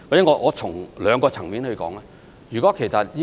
讓我從兩個層面來解說。